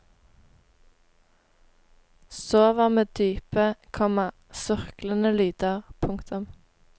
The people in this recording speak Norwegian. Sover med dype, komma surklende lyder. punktum